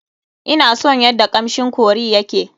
Ina son yadda kamshin curry ya ke.